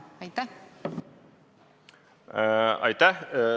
Aitäh!